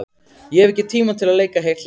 Ég hef ekki tíma til að leika heilt leikrit.